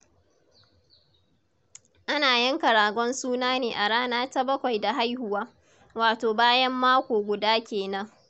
Ana yanka ragon suna ne a rana ta bakwai da haihuwa, wato bayan mako guda ke nan.